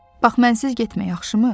Bax mənsiz getmə, yaxşımı?